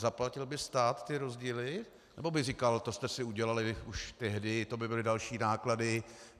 Zaplatil by stát ty rozdíly, nebo by říkal: to jste si udělali už tehdy, to by byly další náklady.